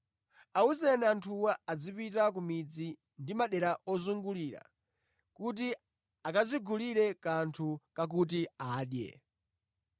Awuzeni anthuwa azipita ku midzi ndi madera ozungulira, kuti akadzigulire kanthu kakuti adye.”